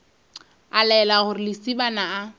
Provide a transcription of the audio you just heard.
a laela gore lesibana a